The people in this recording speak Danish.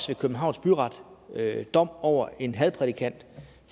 ved københavns byret dom over en hadprædikant